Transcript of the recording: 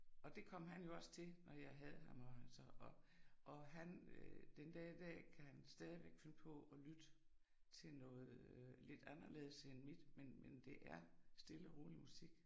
Og det kom han jo også til når jeg havde ham og han så og og han øh den dag i dag kan han stadigvæk finde på og lytte noget øh lidt anderledes end mit, men men det er stille og rolig musik